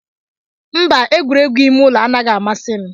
Mba, egwuregwu ime ụlọ anaghị amasị m.